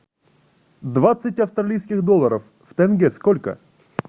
двадцать австралийских долларов в тенге сколько